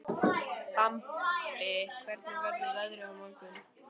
Bambi, hvernig verður veðrið á morgun?